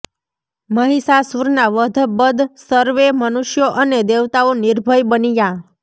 મહિષાસુરના વધ બદ સર્વે મનુષ્યો અને દેવતાઓ નિર્ભય બન્યા